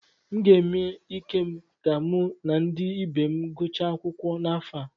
M ga-eme ike m ka mụ na ndị ibe m gụchaa akwụkwọ n’afọ a.